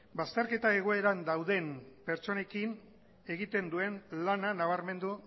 bazterketa egoeran daude pertsonekin egiten duen lana nabarmendu